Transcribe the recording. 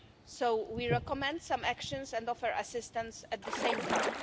So we recommend some actions and offer assistance at the same time.